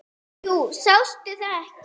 Jú, sástu það ekki.